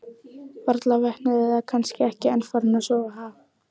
Varla vöknuð eða kannski ekki enn farin að sofa, ha?